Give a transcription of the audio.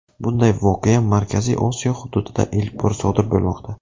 Bunday voqea Markaziy Osiyo hududida ilk bor sodir bo‘lmoqda.